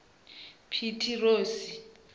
pitirosi